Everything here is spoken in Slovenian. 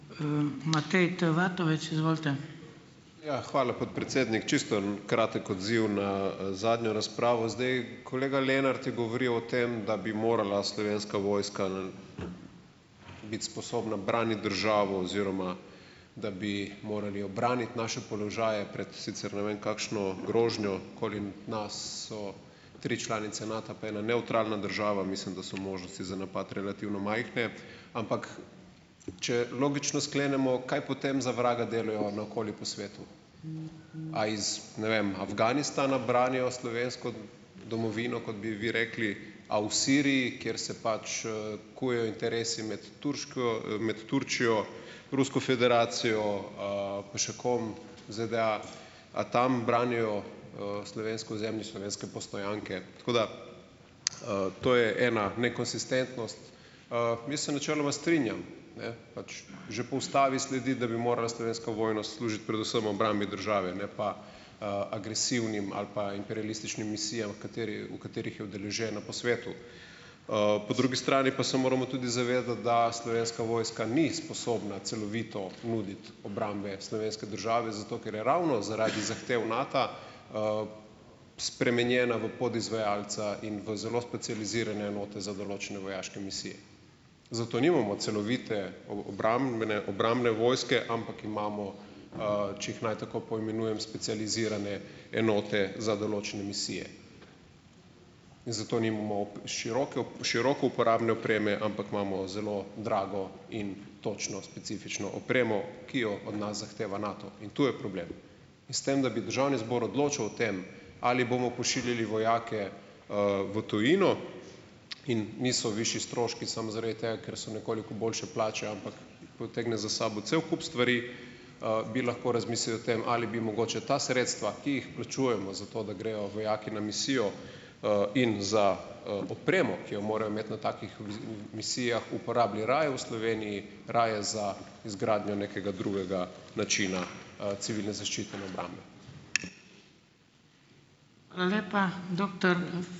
Matej T. Vatovec, izvolite. Ja, hvala, podpredsednik. Čisto kratek odziv na, zadnjo razpravo. Zdaj, kolega Lenart je govoril o tem, da bi morala slovenska vojska biti sposobna braniti državo, oziroma da bi morali obraniti naše položaje pred, sicer ne vem, kakšno grožnjo. Okoli nas so tri članice Nata pa ena nevtralna država. Mislim, da so možnosti za napad relativno majhne. Ampak, če logično sklenemo, kaj potem za vraga delajo na okoli po svetu. A iz, ne vem, Afganistana branijo slovensko domovino, kot bi vi rekli? A v Siriji, kjer se pač, kuje interesi imeti med Turčijo, Rusko federacijo, pa še kom, ZDA, a tam branijo, slovensko ozemlje, slovenske postojanke? Tako da, to je ena nekonsistentnost. mi se načeloma strinjam, ne. Pač, že po ustavi sledi, da bi morala slovenska vojna služiti predvsem obrambi države, ne pa, agresivnim ali pa imperialističnim misijam v v katerih je udeležena po svetu. po drugi strani pa se moramo tudi zavedati, da slovenska vojska ni sposobna celovito nuditi obrambe slovenske države, zato ker je ravno zaradi zahtev Nata, spremenjena v podizvajalca in v zelo specializirane enote za določene vojaške misije. Zato nimamo celovite o, obrambne vojske, ampak imamo, če jih naj tako poimenujem, specializirane enote za določene misije. In zato nimamo široke široko uporabne opreme, ampak imamo zelo drago in točno specifično opremo, ki jo od nas zahteva Nato. In to je problem. S tem, da bi državni zbor odločal o tem, ali bomo pošiljali vojake, v tujino in niso višji stroški samo zaradi tega, ker so nekoliko boljše plačajo, ampak potegne za sabo cel kup stvari, bi lahko razmislili o tem, ali bi mogoče ta sredstva, ki jih plačujemo zato, da grejo vojaki na misijo, in za, opremo, ki jo morajo imeti na takih misijah, uporabili raje v Sloveniji, raje za izgradnjo nekega drugega načina, civilne zaščite in obrambe .